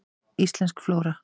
Íslensk flóra.